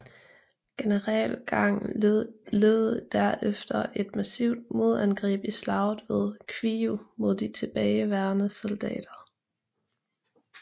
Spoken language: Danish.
General Gang ledede der efter et massivt modangreb i Slaget ved Kwiju mod de tilbageværende soldater